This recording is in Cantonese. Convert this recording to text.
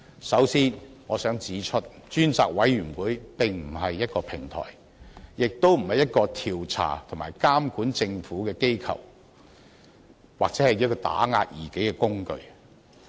首先，我想指出，專責委員會並非一個平台，亦不是調查和監管政府的機構或打壓異己的工具。